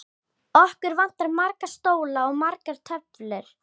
Okkur vantar marga stóla og margar tölvur.